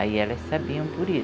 Aí elas sabiam por